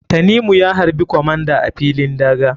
Tanimu ya harɓi comander a filin daga.